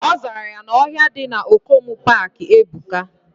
Ozara ya na ohia di na Okomu park ebuka.